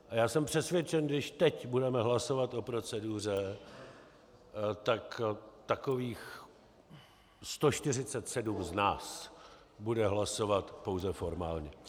A já jsem přesvědčen, když teď budeme hlasovat o proceduře, tak takových 147 z nás bude hlasovat pouze formálně.